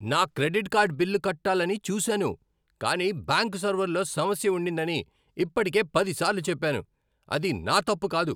నా credit card bill కట్టాలని చూసాను కానీ బ్యాంక్ సర్వర్లో సమస్య ఉండిందని ఇప్పటికే పదిసార్లు చెప్పాను. అది నా తప్పు కాదు!